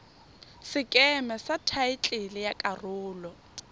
sekeme sa thaetlele ya karolo